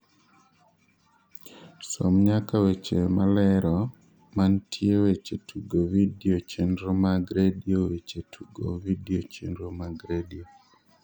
som nyaka weche malero mantie weche tugo vidio chenro mag redio weche tugo vidio chenro mag redio